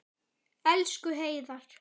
Elsku Heiðar.